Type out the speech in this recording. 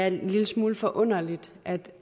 en lille smule forunderligt at det